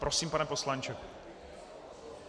Prosím, pane poslanče.